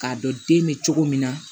K'a dɔn den bɛ cogo min na